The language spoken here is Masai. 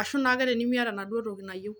ashu naake tenimiata enaduo toki nayiou.